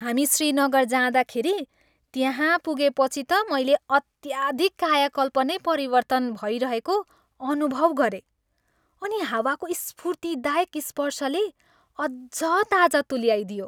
हामी श्रीनगर जाँदाखेरि त्यहाँ पुगेपछि त मैले अत्याधिक कायाकल्प नै परिवर्तन भइरहेको अनुभव गरेँ अनि हावाको स्फूर्तिदायक स्पर्शले अझ ताजा तुल्याइदियो।